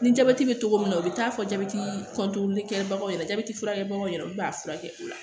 Ni jabɛti be togo min na o be taa fɔ jabɛti kɛbagaw ɲɛna furakɛlibagaw ɲɛna olu b'a furakɛ o la